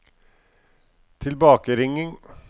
tilbakeringing